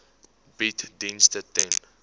bied dienste ten